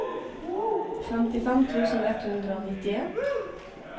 femtifem tusen ett hundre og nittien